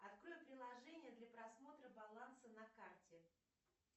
открой приложение для просмотра баланса на карте